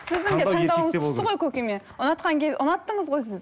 сіздің де таңдауыңыз түсті ғой көкеме ұнатқан ұнаттыңыз ғой сіз